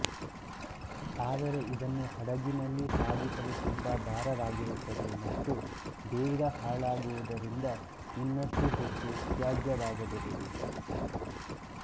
ಆದರೆ ಇದನ್ನು ಹಡಗಿನಲ್ಲಿ ಸಾಗಿಸಲು ತುಂಬಾ ಭಾರವಾಗಿರುತ್ತದೆ ಮತ್ತು ಬೇಗ ಹಾಳಾಗುವುದರಿಂದ ಇನ್ನಷ್ಟು ಹೆಚ್ಚು ತ್ಯಾಜ್ಯವಾಗಬಹುದು